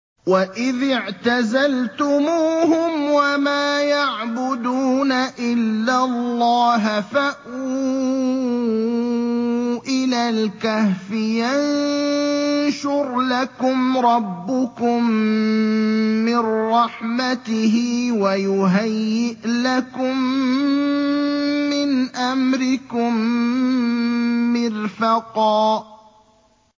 وَإِذِ اعْتَزَلْتُمُوهُمْ وَمَا يَعْبُدُونَ إِلَّا اللَّهَ فَأْوُوا إِلَى الْكَهْفِ يَنشُرْ لَكُمْ رَبُّكُم مِّن رَّحْمَتِهِ وَيُهَيِّئْ لَكُم مِّنْ أَمْرِكُم مِّرْفَقًا